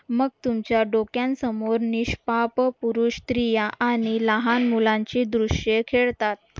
मग तुमच्या डोक्यांसमोर निष्पाप पुरुष स्त्रिया आणि लहान मुलांची दृश्य खेळतात